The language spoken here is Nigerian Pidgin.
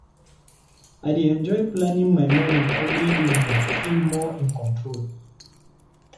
I dey enjoy planning my morning every evening to feel more in control.